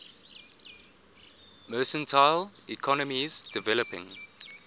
mercantile economies developing